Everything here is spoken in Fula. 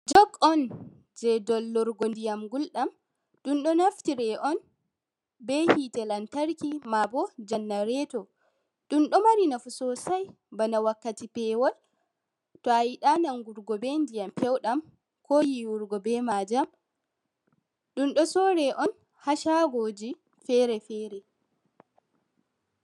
Jog on jei dollurgo ndiyam gulɗam. Ɗun ɗo naftire on be hite lantarki, maabo jannareto. Ɗun ɗo mari nafu sosai bana wakkati pewol to a yiɗaa nangurgo be ndiyam pewɗam, ko yiwurgo be maajam. Ɗun ɗo sore on ha shaagoji fere-fere.